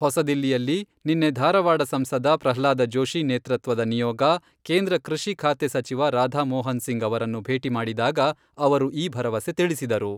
ಹೊಸದಿಲ್ಲಿಯಲ್ಲಿ ನಿನ್ನೆ ಧಾರವಾಡ ಸಂಸದ ಪ್ರಹ್ಲಾದ ಜೋಶಿ ನೇತೃತ್ವದ ನಿಯೋಗ, ಕೇಂದ್ರ ಕೃಷಿ ಖಾತೆ ಸಚಿವ ರಾಧಾ ಮೋಹನಸಿಂಗ್ ಅವರನ್ನು ಭೇಟಿ ಮಾಡಿದಾಗ ಅವರು ಈ ಭರವಸೆ ತಿಳಿಸಿದರು.